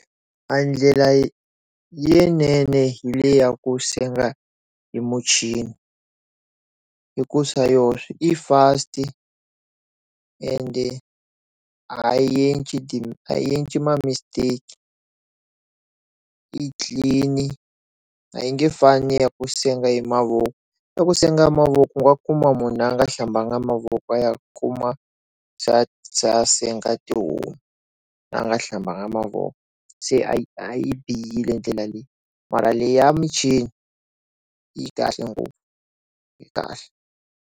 Ndlela leyinene hi le ya ku senga hi muchini hi ku swa yoxe i fast ende ha yi endli ma mistake i clean a yi nge fani ya ku senga hi mavoko ya ku senga hi mavoko wa kuma mhunu a nga hlambanga mavoko ya kuma se a senga tihomu va nga hlambanga mavoko se a bihile ndlela leyi mara leyi ya muchini yi kahle ngopfu yi kahle.